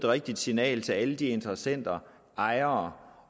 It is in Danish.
rigtigt signal til alle de interessenter ejere